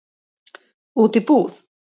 Út í búð?